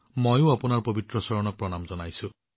মইও আপোনাৰ পবিত্ৰ চৰণত মোৰ প্ৰণাম আগবঢ়াইছো